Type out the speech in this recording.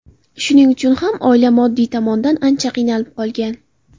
Shuning uchun ham oila moddiy tomondan ancha qiynalib qolgan.